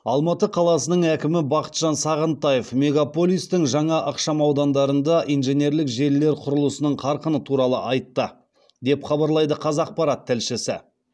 алматы қаласының әкімі бақытжан сағынтаев мегаполистің жаңа ықшамаудандарында инженерлік желілер құрылысының қарқыны туралы айтты деп хабарлайды қазақпарат тілшісі